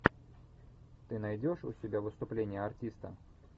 ты найдешь у себя выступление артиста